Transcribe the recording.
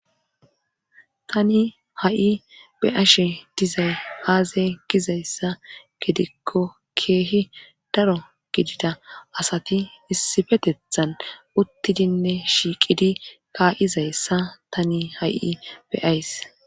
Tani ha7i be ashe dizay haaza gizayssa gedikko keehi daro gidida asati issifetethan uttidinne shiiqidi kaa7izayssa tani ha7i beyays